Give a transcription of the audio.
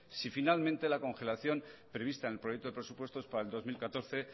si finalmente la congelación prevista en el proyecto de presupuestos para el dos mil catorce